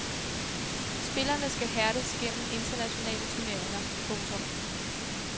Spillerne skal hærdes gennem internationale turneringer. punktum